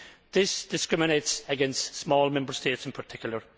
This discriminates against small Member States in particular.